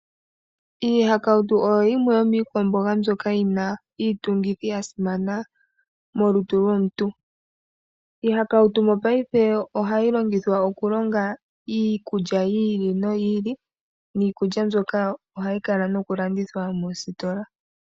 Iihakautu oyo yimwe yomiikwamboga mbyoka yi na iitungithi ya simana molutu lomuntu. Iihakautu mopaife ohayi longithwa okulonga iikulya yi ili noyi ili, niikulya mbyoka ohayi kala nokulandithwa moositola.